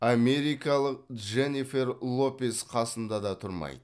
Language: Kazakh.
америкалық дженнифер лопес қасында да тұрмайды